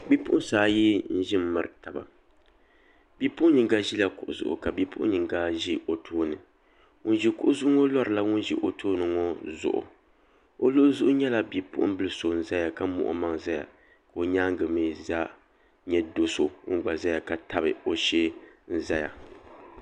Bipuɣunsi ayi n ʒi n miri taba bipuɣun yinga ʒila kuɣu zuɣu ka bipuɣun yinga ʒi o tooni ŋun ʒi kuɣu zuɣu ŋo larila ŋun ʒi o tooni ŋo zuɣu o luɣuli zuɣu nyɛla bipuɣunbili so n ʒɛya ka muɣi o maŋa ʒɛya ka o nyaangi mii nyɛ do so ŋun gba ʒɛya ka tabi o shee ʒɛya